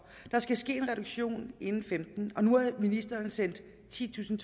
der skal ske en reduktion inden femten og nu har ministeren sendt titusind